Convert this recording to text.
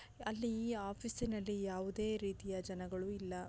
ಅಲ್ಲಿ ಈ ಆಫೀಸಿನಲ್ಲಿ ಯಾವುದೇ ರೀತಿಯ ಜನಗಳು ಇಲ್ಲ.